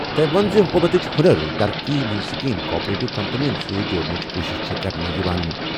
تٔمۍ ووٚن زِ حکوٗمتٕچ ہُنر ترقی ہٕنٛز سکیم کوآپریٹو کمپنیَن سۭتۍ جوڑنٕچ کوٗشش چھِ کرنہٕ یِوان ۔